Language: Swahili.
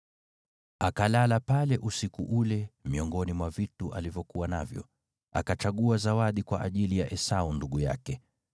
Akalala pale usiku ule, miongoni mwa vitu alivyokuwa navyo, akachagua zawadi kwa ajili ya Esau ndugu yake: